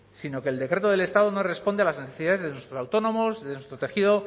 sino que el decreto del estado no responde a las necesidades de nuestros autónomos de nuestro tejido